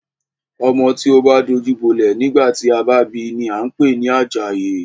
Ọmọ tí o bá dajú bolẹ̀ nígbà tí a bi ni a ń pè ní Àjàyí.